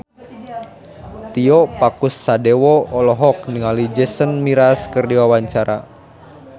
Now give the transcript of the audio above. Tio Pakusadewo olohok ningali Jason Mraz keur diwawancara